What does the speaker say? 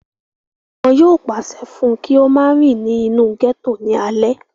wọn yóò pàṣẹ fún un kí ó máa rìn ní inú gẹ́tò ní alẹ́